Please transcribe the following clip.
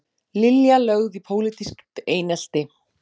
Lilja lögð í pólitískt einelti